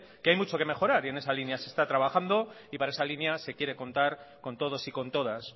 que hay mucho que mejorar y en esa línea se está trabajando y para esa línea se quiere contar con todos y con todas